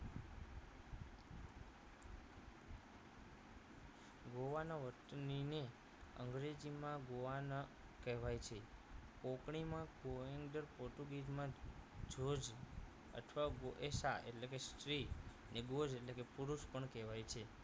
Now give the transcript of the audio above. ગોવાના વતની ની અંગ્રેજીમાં ગોવાના કહેવાય છે કાંપણી માં કોએંજ અને પોર્ટુગીઝમાં જોજ અથવા ગોએશા એટલે કે સ્ત્રી અને બોજ એટલે પુરુષ પણ કહેવાય છે